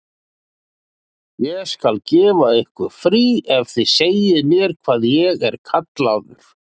Ég skal gefa ykkur frí ef þið segið mér hvað ég er kallaður.